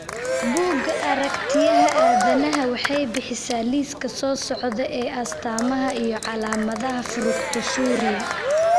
Bugga Aaragtiyaha Aadanaha waxay bixisaa liiska soo socda ee astamaha iyo calaamadaha Fructosuria.